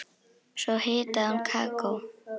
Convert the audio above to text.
Svo hitaði hún kakó.